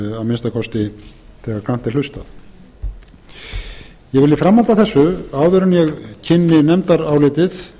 minnsta kosti þegar grannt er hlustað ég vil í framhaldi af þessu áður en ég kynni nefndarálitið